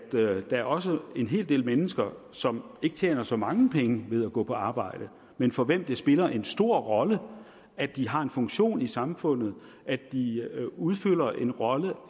der også er en hel del mennesker som ikke tjener så mange penge ved at gå på arbejde men for hvem det spiller en stor rolle at de har en funktion i samfundet at de udfylder en rolle